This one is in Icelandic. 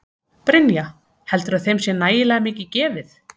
Brynja: Heldurðu að þeim sé nægilega mikið gefið?